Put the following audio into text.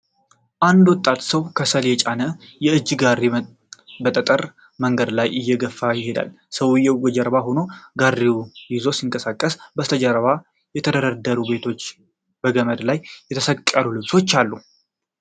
አንድ ወጣት ሰው ከሰል የጫነ የእጅ ጋሪ በጠጠር መንገድ ላይ እየገፋ ይሄዳል። ሰውዬው ከጀርባው ሆኖ ጋሪውን ይዞ ሲንቀሳቀስ፣ ከበስተጀርባ የተደረደሩ ቤቶችና በገመድ ላይ የተሰቀሉ ልብሶች አሉ።